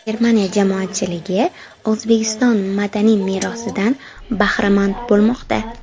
Germaniya jamoatchiligi O‘zbekiston madaniy merosidan bahramand bo‘lmoqda.